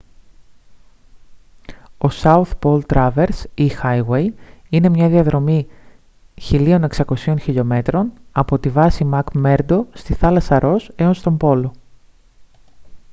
ο south pole traverse ή highway είναι μια διαδρομή 1600 χλμ από τη βάση μακμέρντο στη θάλασσα ρος έως τον πόλο